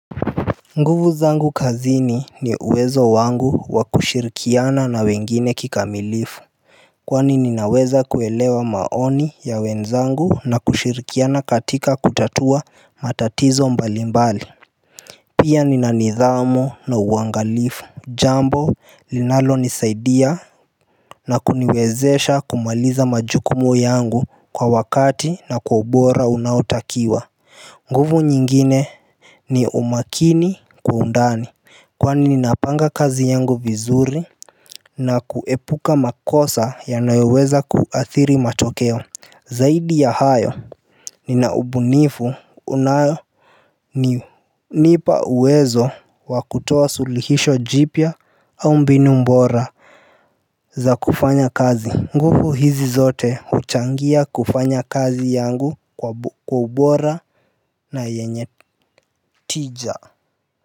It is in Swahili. Nguvu zangu kazini ni uwezo wangu wa kushirikiana na wengine kikamilifu. Kwani ninaweza kuelewa maoni ya wenzangu na kushirikiana katika kutatua matatizo mbalimbali. Pia nina nidhamu na uwangalifu. Jambo linalonisaidia na kuniwezesha kumaliza majukumu yangu kwa wakati na kwa ubora unaotakiwa. Nguvu nyingine ni umakini kwa undani. Kwani ninapanga kazi yangu vizuri na kuepuka makosa yanayoweza kuathiri matokeo. Zaidi ya hayo nina ubunifu unayo inanipa uwezo wa kutoa suluhisho jipya au mbinu bora za kufanya kazi. Nguvu hizi zote huchangia kufanya kazi yangu kwa ubora na yenye tija.